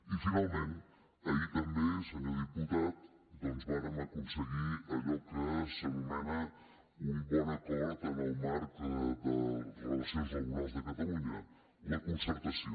i finalment ahir també senyor diputat doncs vàrem aconseguir allò que s’anomena un bon acord en el marc de relacions laborals de catalunya la concerta·ció